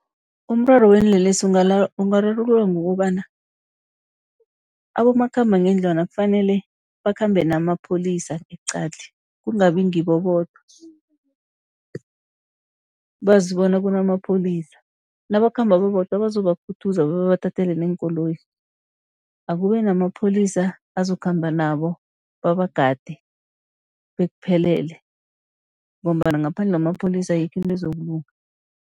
Umraro weenlelesi ungararululwa ngokobana abomakhambangendlwana kufanele bakhambe namapholisa eqadi, kungabi ngibo bodwa. Bazi bona kunamapholisa nabakhamba babodwa bazobakhuthaza babathathele neenkoloyi. Akube namapholisa azokukhamba nabo babagade, bekuphelele ngombana ngaphandle kwamapholisa ayikho into ezokulunga.